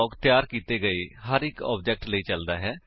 ਜੋ ਵੀ ਕੋਡ ਦੋ ਕਰਲੀ ਬਰੈਕੇਟਸ ਵਿੱਚ ਲਿਖਿਆ ਜਾਂਦਾ ਹੈ ਨਾਨ ਸਟੇਟਿਕ ਬਲਾਕ ਹੁੰਦਾ ਹੈ